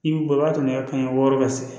I b'i bɔ waa kɛmɛ wɔɔrɔ ka se